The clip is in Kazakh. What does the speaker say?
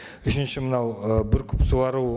үшінші мынау ы бүркіп суару